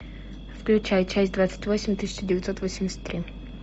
включай часть двадцать восемь тысяча девятьсот восемьдесят три